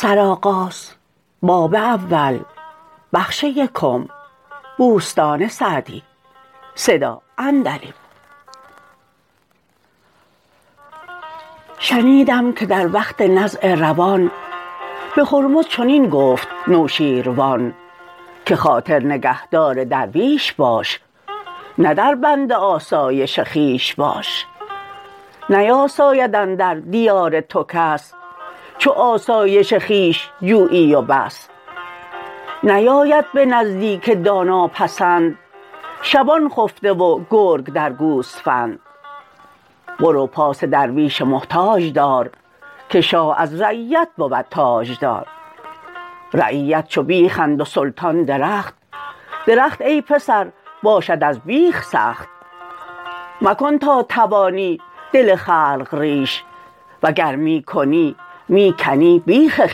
شنیدم که در وقت نزع روان به هرمز چنین گفت نوشیروان که خاطر نگهدار درویش باش نه در بند آسایش خویش باش نیاساید اندر دیار تو کس چو آسایش خویش جویی و بس نیاید به نزدیک دانا پسند شبان خفته و گرگ درد گوسفند برو پاس درویش محتاج دار که شاه از رعیت بود تاجدار رعیت چو بیخند و سلطان درخت درخت ای پسر باشد از بیخ سخت مکن تا توانی دل خلق ریش وگر می کنی می کنی بیخ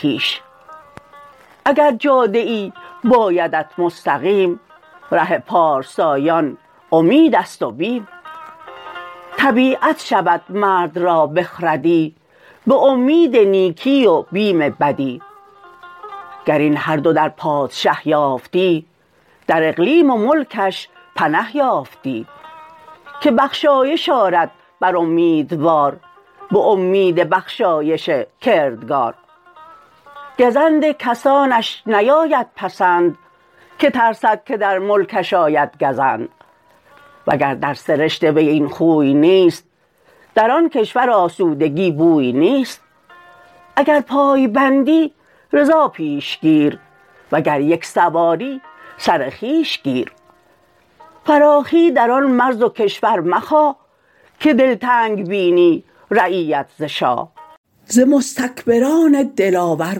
خویش اگر جاده ای بایدت مستقیم ره پارسایان امید است و بیم طبیعت شود مرد را بخردی به امید نیکی و بیم بدی گر این هر دو در پادشه یافتی در اقلیم و ملکش بنه یافتی که بخشایش آرد بر امیدوار به امید بخشایش کردگار گزند کسانش نیاید پسند که ترسد که در ملکش آید گزند وگر در سرشت وی این خوی نیست در آن کشور آسودگی بوی نیست اگر پای بندی رضا پیش گیر وگر یک سواری سر خویش گیر فراخی در آن مرز و کشور مخواه که دلتنگ بینی رعیت ز شاه ز مستکبران دلاور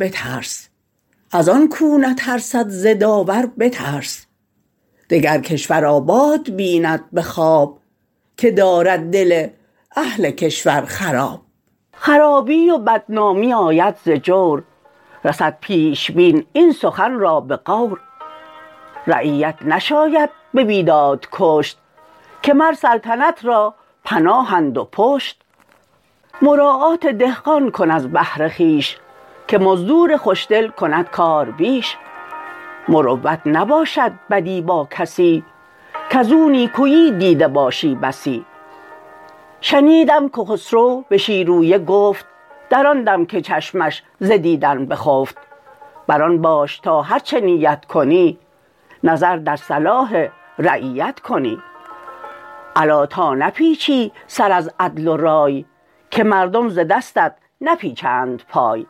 بترس از آن کاو نترسد ز داور بترس دگر کشور آباد بیند به خواب که دارد دل اهل کشور خراب خرابی و بدنامی آید ز جور رسد پیش بین این سخن را به غور رعیت نشاید به بیداد کشت که مر سلطنت را پناهند و پشت مراعات دهقان کن از بهر خویش که مزدور خوش دل کند کار بیش مروت نباشد بدی با کسی کز او نیکویی دیده باشی بسی شنیدم که خسرو به شیرویه گفت در آن دم که چشمش ز دیدن بخفت بر آن باش تا هرچه نیت کنی نظر در صلاح رعیت کنی الا تا نپیچی سر از عدل و رای که مردم ز دستت نپیچند پای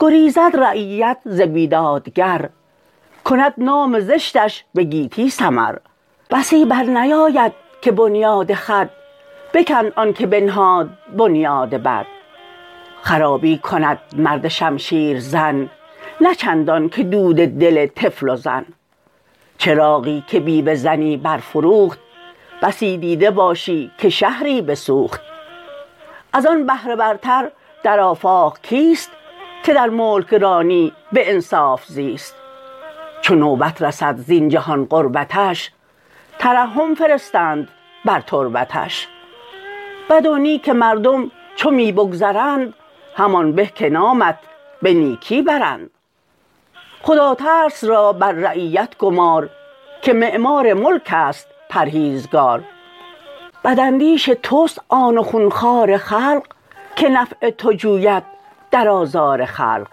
گریزد رعیت ز بیدادگر کند نام زشتش به گیتی سمر بسی بر نیاید که بنیاد خود بکند آن که بنهاد بنیاد بد خرابی کند مرد شمشیر زن نه چندان که دود دل طفل و زن چراغی که بیوه زنی برفروخت بسی دیده باشی که شهری بسوخت از آن بهره ورتر در آفاق کیست که در ملکرانی به انصاف زیست چو نوبت رسد زین جهان غربتش ترحم فرستند بر تربتش بد و نیک مردم چو می بگذرند همان به که نامت به نیکی برند خداترس را بر رعیت گمار که معمار ملک است پرهیزگار بد اندیش توست آن و خون خوار خلق که نفع تو جوید در آزار خلق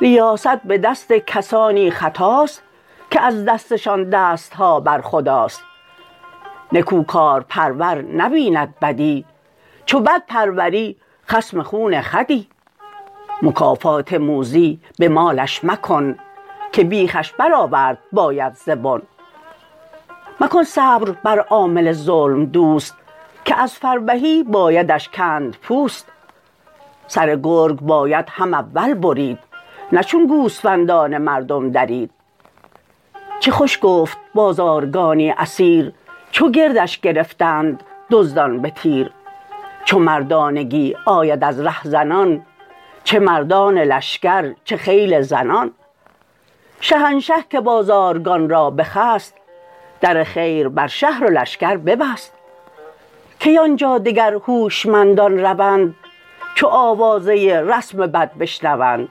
ریاست به دست کسانی خطاست که از دستشان دست ها بر خداست نکوکارپرور نبیند بدی چو بد پروری خصم خون خودی مکافات موذی به مالش مکن که بیخش برآورد باید ز بن مکن صبر بر عامل ظلم دوست که از فربهی بایدش کند پوست سر گرگ باید هم اول برید نه چون گوسفندان مردم درید چه خوش گفت بازارگانی اسیر چو گردش گرفتند دزدان به تیر چو مردانگی آید از رهزنان چه مردان لشکر چه خیل زنان شهنشه که بازارگان را بخست در خیر بر شهر و لشکر ببست کی آن جا دگر هوشمندان روند چو آوازه رسم بد بشنوند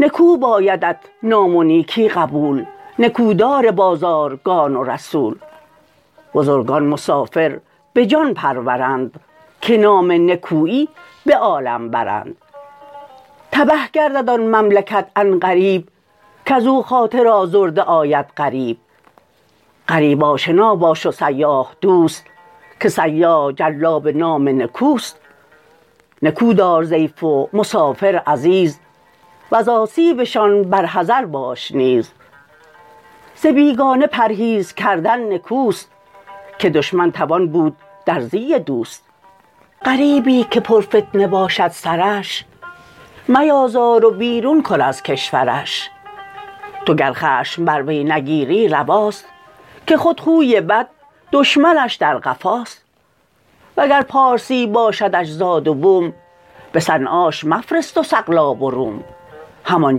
نکو بایدت نام و نیکی قبول نکو دار بازارگان و رسول بزرگان مسافر به جان پرورند که نام نکویی به عالم برند تبه گردد آن مملکت عن قریب کز او خاطر آزرده آید غریب غریب آشنا باش و سیاح دوست که سیاح جلاب نام نکوست نکو دار ضیف و مسافر عزیز وز آسیبشان بر حذر باش نیز ز بیگانه پرهیز کردن نکوست که دشمن توان بود در زی دوست غریبی که پر فتنه باشد سرش میازار و بیرون کن از کشورش تو گر خشم بر وی نگیری رواست که خود خوی بد دشمنش در قفاست وگر پارسی باشدش زاد و بوم به صنعاش مفرست و سقلاب و روم هم آن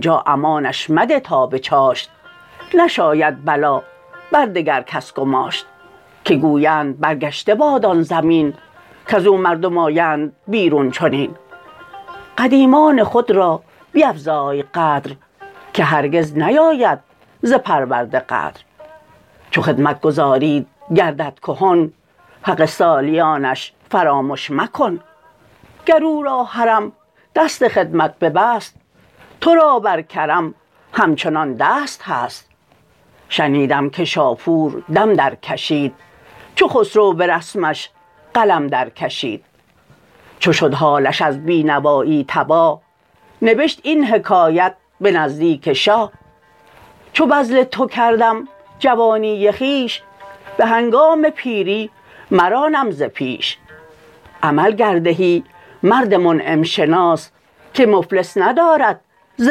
جا امانش مده تا به چاشت نشاید بلا بر دگر کس گماشت که گویند برگشته باد آن زمین کز او مردم آیند بیرون چنین قدیمان خود را بیفزای قدر که هرگز نیاید ز پرورده غدر چو خدمتگزاریت گردد کهن حق سالیانش فرامش مکن گر او را هرم دست خدمت ببست تو را بر کرم همچنان دست هست شنیدم که شاپور دم در کشید چو خسرو به رسمش قلم در کشید چو شد حالش از بی نوایی تباه نبشت این حکایت به نزدیک شاه چو بذل تو کردم جوانی خویش به هنگام پیری مرانم ز پیش عمل گر دهی مرد منعم شناس که مفلس ندارد ز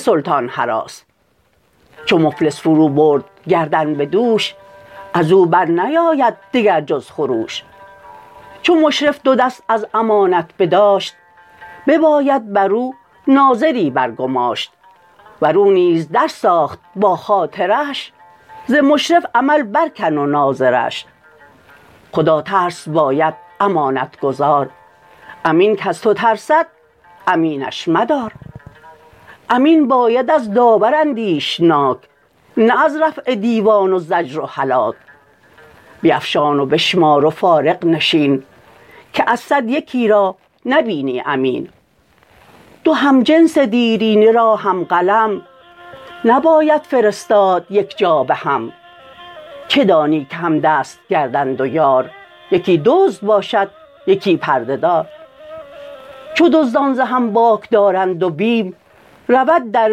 سلطان هراس چو مفلس فرو برد گردن به دوش از او بر نیاید دگر جز خروش چو مشرف دو دست از امانت بداشت بباید بر او ناظری بر گماشت ور او نیز در ساخت با خاطرش ز مشرف عمل بر کن و ناظرش خدا ترس باید امانت گزار امین کز تو ترسد امینش مدار امین باید از داور اندیشناک نه از رفع دیوان و زجر و هلاک بیفشان و بشمار و فارغ نشین که از صد یکی را نبینی امین دو همجنس دیرینه را هم قلم نباید فرستاد یک جا به هم چه دانی که همدست گردند و یار یکی دزد باشد یکی پرده دار چو دزدان ز هم باک دارند و بیم رود در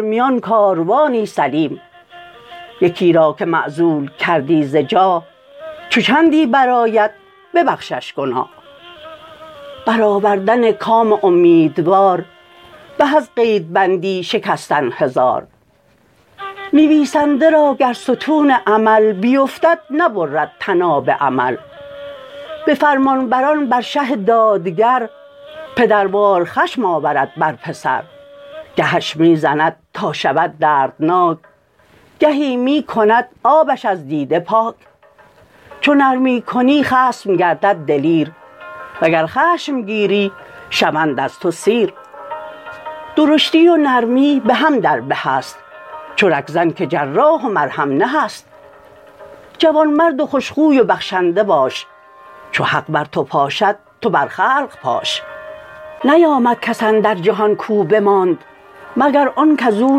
میان کاروانی سلیم یکی را که معزول کردی ز جاه چو چندی برآید ببخشش گناه بر آوردن کام امیدوار به از قید بندی شکستن هزار نویسنده را گر ستون عمل بیفتد نبرد طناب امل به فرمانبران بر شه دادگر پدروار خشم آورد بر پسر گهش می زند تا شود دردناک گهی می کند آبش از دیده پاک چو نرمی کنی خصم گردد دلیر وگر خشم گیری شوند از تو سیر درشتی و نرمی به هم در به است چو رگ زن که جراح و مرهم نه است جوان مرد و خوش خوی و بخشنده باش چو حق بر تو پاشد تو بر خلق پاش نیامد کس اندر جهان کاو بماند مگر آن کز او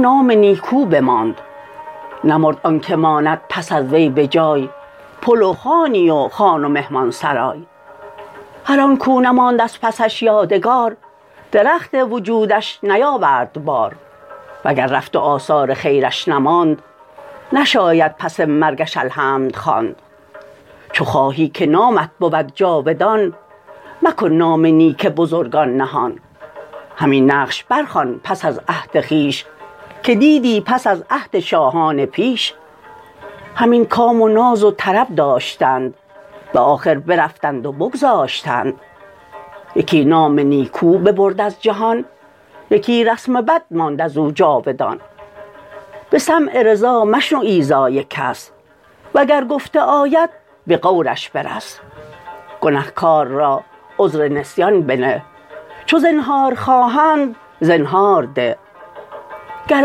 نام نیکو بماند نمرد آن که ماند پس از وی به جای پل و خانی و خان و مهمان سرای هر آن کاو نماند از پسش یادگار درخت وجودش نیاورد بار وگر رفت و آثار خیرش نماند نشاید پس مرگش الحمد خواند چو خواهی که نامت بود جاودان مکن نام نیک بزرگان نهان همین نقش بر خوان پس از عهد خویش که دیدی پس از عهد شاهان پیش همین کام و ناز و طرب داشتند به آخر برفتند و بگذاشتند یکی نام نیکو ببرد از جهان یکی رسم بد ماند از او جاودان به سمع رضا مشنو ایذای کس وگر گفته آید به غورش برس گنهکار را عذر نسیان بنه چو زنهار خواهند زنهار ده گر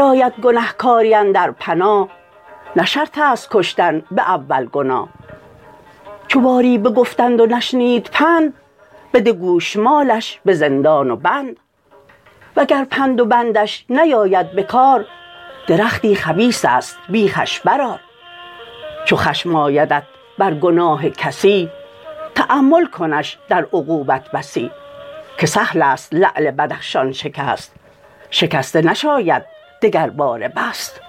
آید گنهکاری اندر پناه نه شرط است کشتن به اول گناه چو باری بگفتند و نشنید پند بده گوشمالش به زندان و بند وگر پند و بندش نیاید بکار درختی خبیث است بیخش برآر چو خشم آیدت بر گناه کسی تأمل کنش در عقوبت بسی که سهل است لعل بدخشان شکست شکسته نشاید دگرباره بست